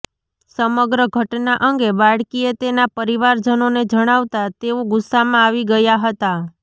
સમગ્ર ઘટના અંગે બાળકીએ તેના પરિવારજનોને જણાવતા તેઓ ગુસ્સામાં આવી ગયા હતા